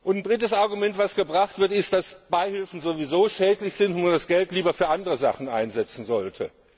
Ein drittes Argument, das vorgebracht wird, ist, dass Beihilfen sowieso schädlich sind und man das Geld lieber für andere Sachen einsetzen sollte.